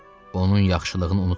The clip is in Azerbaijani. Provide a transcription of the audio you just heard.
Onun yaxşılığını unutmayın.